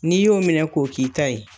N'i y'o minɛ k'o k'i ta ye